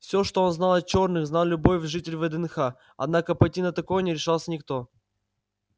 всё что он знал о чёрных знал любой житель вднх однако пойти на такое не решался никто